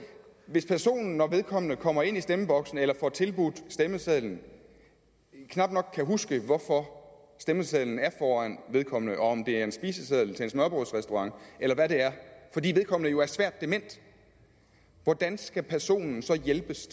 hvis personen når vedkommende kommer ind i stemmeboksen eller får tilbudt stemmesedlen knap nok kan huske hvorfor stemmesedlen er foran vedkommende om det er en spiseseddel til en smørrebrødsrestaurant eller hvad det er fordi vedkommende jo er svært dement hvordan skal personen så hjælpes